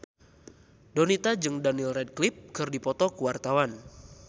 Donita jeung Daniel Radcliffe keur dipoto ku wartawan